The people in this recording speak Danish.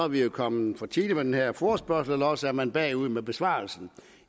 vi kommet for tidligt med den her forespørgsel eller også er man bagud med besvarelsen i